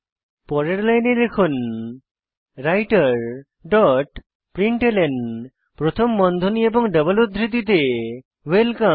পরের লাইনে লিখুন রাইটের ডট প্রিন্টলন প্রথম বন্ধনী এবং ডাবল উদ্ধৃতিতে ওয়েলকাম